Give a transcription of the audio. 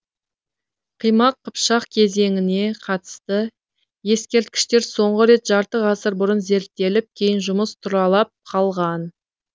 қимақ қыпшақ кезеңіне қатысты ескерткіштер соңғы рет жарты ғасыр бұрын зерттеліп кейін жұмыс тұралап қалған